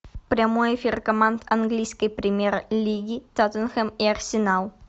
прямой эфир команд английской премьер лиги тоттенхэм и арсенал